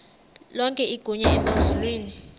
lonke igunya emazulwini